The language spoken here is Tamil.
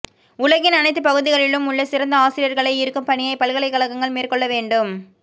உலகின் அனைத்துப் பகுதிகளிலும் உள்ள சிறந்த ஆசிரியர்களை ஈர்க்கும் பணியைப் பல்கலைக்கழகங்கள் மேற்கொள்ள வேண்டும்